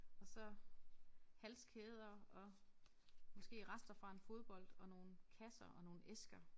Og så halskæder og måske rester fra en fodbold og nogle kasser og nogle æsker